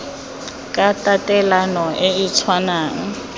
ka tatelano e e tshwanang